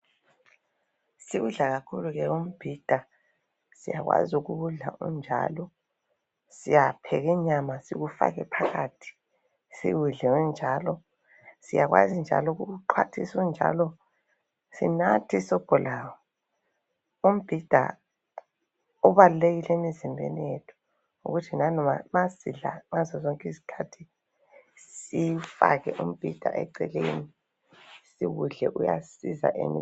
Siwudla kakhulu ke umbhida. Siyakwazi ukuwudla unjalo. Siyapheka inyama siwufake phakathi. Siwudle unjalo. Siyakwazi njalo ukuwuxhathisa unjalo, sinathe isobho lawo. Umbhida ubalulekile emzimbeni yethu. Ukuthi nanoba sisidla ngasosonke isikhathi, siwufake umbhida ecekeni. Uyasisiza emzimbeni.